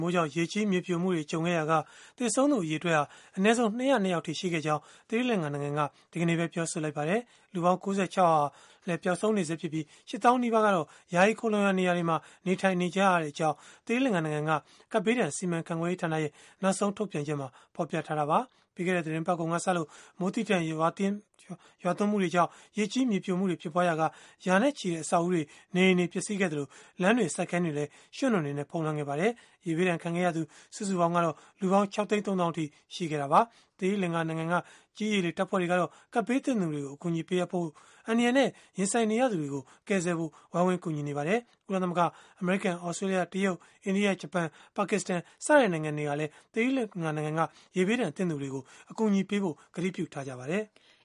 မိုးကြောင့် ရေကြီး၊ မြေပြိုမှုတွေကြုံခဲ့ရာက သေဆုံးသူ အရေအတွက်ဟာ အနည်းဆုံး ၂၀၂ ယောက်အထိ ရှိခဲ့ကြောင်း သီရီလင်္ကာနိုင်ငံက ဒီကနေ့ပဲ ပြောဆိုလိုက်ပါတယ်။ လူပေါင်း ၉၆ ယောက်ဟာလည်း ပျောက်ဆုံးနေဆဲဖြစ်ပြီး၊ ၈ သောင်း နီးပါးဟာလည်း ယာယီခိုလှုံရာနေရာတွေမှာ နေထိုင်နေကြရကြောင်း သီရိလင်္ကာနိုင်ငံက ကပ်ဘေးဒဏ်စီမံခန့်ခွဲရေးဌာနရဲ့ နောက်ဆုံးထုတ်ပြန်ချက်မှာ ဖော်ပြထားတာပါ။ ပြီးခဲ့တဲ့သီတင်းပတ်ကုန်ကစလို့ မိုးသည်းထန်ရွာသွန်းမှုတွေကြောင့် ရေကြီး၊ မြေပြိုမှုတွေ ဖြစ်ပွားရာက ရာချီတဲ့ အဆောက်အဦးတွေ၊ နေအိမ်တွေ ပျက်စီးခဲ့သလို၊ လမ်းတွေ၊ စိုက်ခင်းတွေဟာလည်း ရွှံ့နွံတွေ ဖုံးလွှမ်းခဲ့ပါတယ်။ ရေဘေးဒဏ်ခံခဲ့ရသူ စုစုပေါင်းကတော့ လူပေါင်း ၆ သိန်း ၃ သောင်း အထိ ရှိခဲ့တာပါ။ သီရိလင်္ကာ ကြည်း၊ ရေ၊ လေ တပ်ဖွဲ့တွေကတော့ ကပ်ဘေးသင့်သူတွေကို အကူအညီတွေ ပေးအပ်ဖို့၊ အန္တရာယ်နဲ့ ရင်ဆိုင်နေရသူတွေကို ကယ်ဆယ်ဖို့ ဝိုင်းဝန်းကူညီနေကြပါတယ်။ ကုလသမဂ္ဂ၊ အမေရိကန်၊ သြစတြေးလျ၊ တရုတ်၊ အိန္ဒိယ၊ ဂျပန်၊ ပါကစ္စတန် စတဲ့နိုင်ငံတွေကလည်း ရေဘေးဒဏ်သင့်သူတွေကို အကူအညီပေးဖို့ ကတိပြုထားကြပါတယ်။